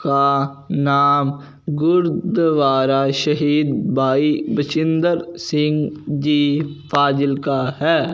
का नाम गुरुद्वारा शहीद भाई बजिंदर सिंह जी फाजिल का है।